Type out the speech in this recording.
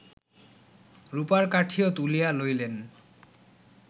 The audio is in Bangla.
রূপার কাঠিও তুলিয়া লইলেন্